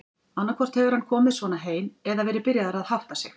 Annaðhvort hefur hann komið svona heim eða verið byrjaður að hátta sig.